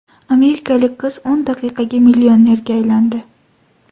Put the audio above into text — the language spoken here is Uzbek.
Amerikalik qiz o‘n daqiqaga millionerga aylandi.